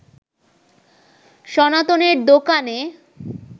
সনাতনের দোকানে